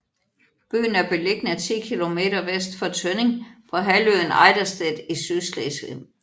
Byen er beliggende ti kilometer vest for Tønning på halvøen Ejdersted i Sydslesvig